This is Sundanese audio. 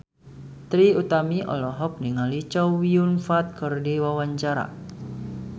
Trie Utami olohok ningali Chow Yun Fat keur diwawancara